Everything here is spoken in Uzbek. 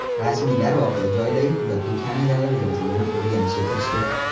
Rasmiylar voqea joyidagi kuzatuv kameralari yozuvini o‘rganishga kirishdi.